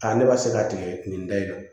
ne b'a se ka tigɛ nin da in